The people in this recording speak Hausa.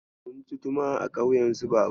Munci tumu a ƙauyen su Babana.